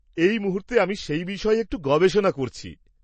এই মুহূর্তে আমি সেই বিষয়ে একটু গবেষণা করছি।